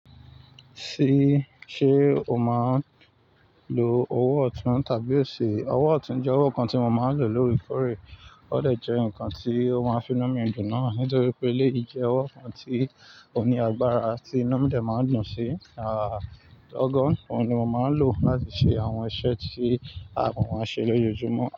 Sé o máa ń lo owó ọ̀tún tàbí òṣi? Owó ọ̀tún jẹ́ owó kan tí mo máa ń lò lórí kọ̀rẹ̀. Ó dẹ̀ jẹ́ ǹkan tí ó máa ń fi inu mi dun náà, nítorí pé léyìí jẹ́ owó kan tí ó ní agbára tí inu mi dẹ̀ máa ń dùn sí. À, lo gan, òun ni mo máa ń lò láti ṣe àwọn iṣẹ̀ tí a máa ń ṣe lójoojúmọ́